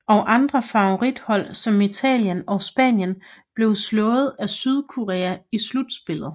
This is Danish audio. Og andre favorithold som Italien og Spanien blev slået af Sydkorea i slutspillet